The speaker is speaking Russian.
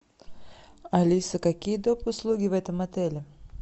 алиса какие доп услуги в этом отеле